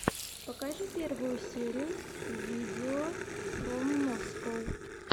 покажи первую серию видеофроммоскоу